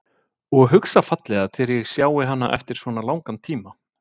Og hugsa fallega þegar ég sjái hana eftir svona langan tíma.